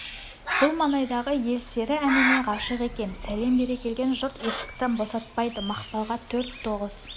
бұл маңайдағы ел сері әніне ғашық екен сәлем бере келген жұрт есікті босатпайды мақпалға төрт тоғыз